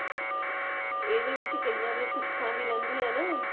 ਏਹਦੇ ਵਿੱਚ ਕਈਆਂ ਦੀਆਂ ਸੁੱਖਾਂ ਵੀ ਲਹਿੰਦਿਆਂ ਹੈਂ ਨਾ